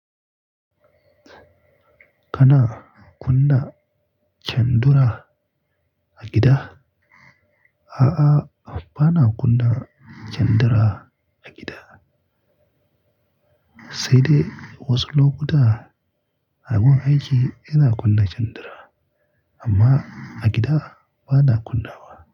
Kana kunna kyandura a gida? A'a, ba na kunna kyandura a gida. Sai dai wasu lokuta a gun aiki ina kunna kyandura, amma a gida ba na kunna wa.